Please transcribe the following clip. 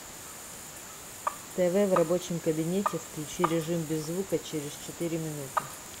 тв в рабочем кабинете включи режим без звука через четыре минуты